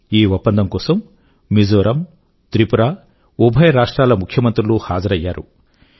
ఈ ఒప్పందం కోసం మిజోరం త్రిపుర ఉభయ రాజ్యాల ముఖ్యమంత్రులూ హాజరయ్యారు